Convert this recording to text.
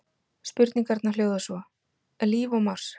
Spurningarnar hljóða svo: Er líf á Mars?